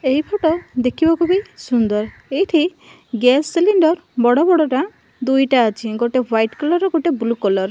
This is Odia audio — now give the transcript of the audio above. ଏହି ଫୋଟ ଦେଖିବାକୁ ବି ସୁନ୍ଦର୍ ଏଇଠି ଗ୍ୟାସ୍ ସିଲିନ୍ଡର୍ ବଡ଼ ବଡ଼ଟା ଦୁଇଟା ଅଛି ଗୋଟେ ହ୍ୱାଇଟ୍ କଲର୍ ର ଗୋଟେ ବ୍ଲୁ କଲର୍ ।